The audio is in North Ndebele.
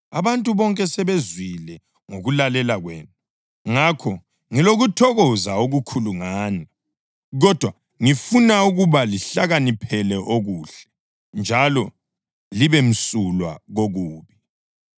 Abantu bonke sebezwile ngokulalela kwenu, ngakho ngilokuthokoza okukhulu ngani; kodwa ngifuna ukuba lihlakaniphele okuhle, njalo libemsulwa kokubi.